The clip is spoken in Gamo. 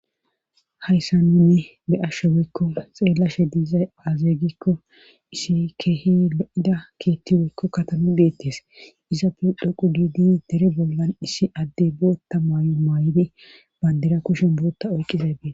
Hayssa nune be7asho woykko xeellashe diiza azee gikko issi keehi lo7ida keethi weykko katami deettees iza pe dhoqu giidi dere bollan issi adde bootta maayo maay7di bandira kushen bootta oyqqiza e